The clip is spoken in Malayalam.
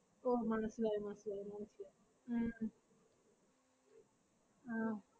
ഓ മനസ്സിലായി മനസ്സിലായി മനസ്സിലായി ഉം ആഹ്